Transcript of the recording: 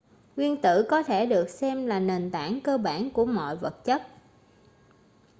nguyên tử có thể được xem là nền tảng cơ bản của mọi vật chất